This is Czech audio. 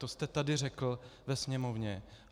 To jste tady řekl ve Sněmovně.